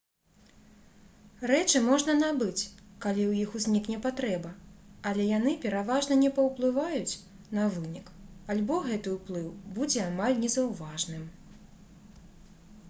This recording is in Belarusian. рэчы можна набыць калі ў іх узнікне патрэба але яны пераважна не паўплываюць на вынік альбо гэты ўплыў будзе амаль незаўважным